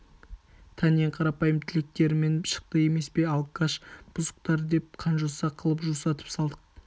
тән ең қарапайым тілектерімен шықты емес пе алкаш бұзықтар деп қанжоса қылып жусатып салдық